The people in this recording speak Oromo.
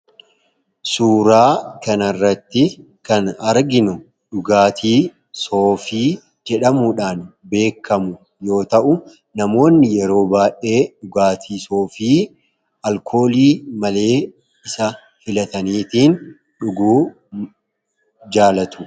Suuraa kana irratti kan arginu dhugaatii soofii jedhamuudhaan beekamu yoo ta'u ,namoonni yeroo baay'ee dhugaatii soofii alkoolii malee isa filataniitiin dhuguu jaalatu.